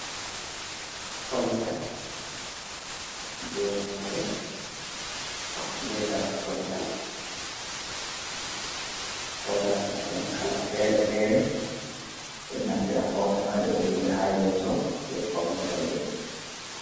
Fauda je robe be darogal foudaji mai ban kala fere-fere be naftira fauda mai be do wujja ha yeso jer fawne robe.